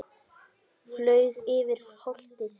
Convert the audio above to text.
Flaug yfir holtið.